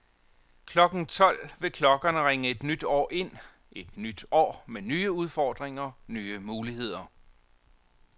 Klokken tolv vil klokkerne ringe et nyt år ind, et nyt år med nye udfordringer, nye muligheder.